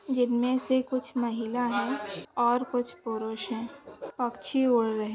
जिंमेसे कुछ महिला है। और कुछ पुरुष है। पक्षी उड रहे है।